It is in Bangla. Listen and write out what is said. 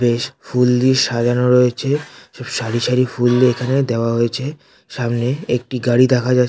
বেশ ফুল দিয়ে সাজানো রয়েছে। সারি সারি ফুল এখানে দেওয়া হয়েছে সামনে। একটি গাড়ি দেখা যাচ --